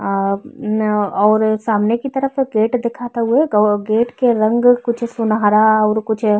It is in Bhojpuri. अ न और सामने की तरफ गेट दिखत हउवे। गेट के रंग कुछ सुनहरा अउर कुछ --